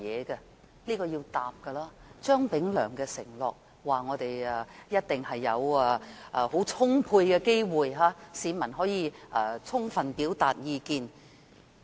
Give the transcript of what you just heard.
這是要回答的，張炳良承諾市民一定有充足的機會充分表達意見。